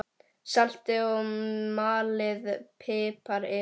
Saltið og malið pipar yfir.